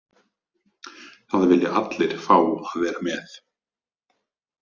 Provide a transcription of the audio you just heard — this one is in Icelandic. Það vilja allir fá að vera með.